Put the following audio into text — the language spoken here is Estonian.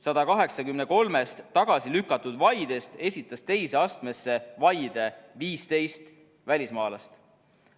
183-st tagasi lükatud vaidest esitas teise astmesse vaide 15 välismaalast.